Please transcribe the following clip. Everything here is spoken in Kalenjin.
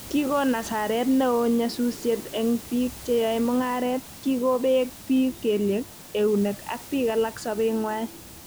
kigoon hasaret ne oo nyasusiet eng bikap cheyoe mungaret, kigobeek biik kelyek, eunek ago biik alak sobengwai